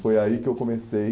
Foi aí que eu comecei.